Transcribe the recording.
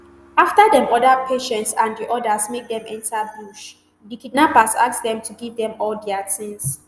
afta dem order patience and di odas make dem enta bush di kidnappers ask dem to give dem all dia tins